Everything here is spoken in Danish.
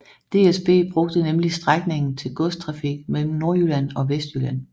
DSB brugte nemlig strækningen til godstrafik mellem Nordjylland og Vestjylland